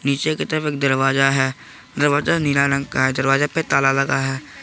पीछे की तरफ एक दरवाजा है दरवाजा नीले रंग का है दरवाजा पे ताला लगा है।